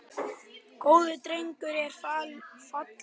Góður drengur er fallinn frá.